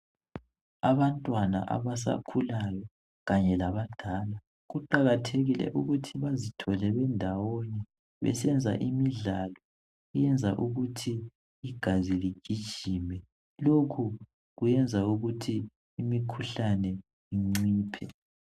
Abantwana abasakhulayo kanye labadala kuqakathekile ukuthi bazithole bendawonye besenza imidlalo. Iyenza ukuthi igazi ligijime. Lokhu kuyenza ukuthi imikhuhlane inciphe.